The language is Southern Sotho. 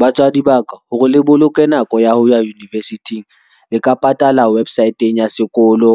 Batswadi ba ka, hore le boloke nako ya ho ya university-ng le ka patala website-ng ya sekolo